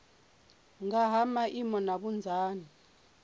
nga ha maimo na vhunzani